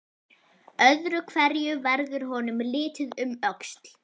Öðru hverju verður honum litið um öxl.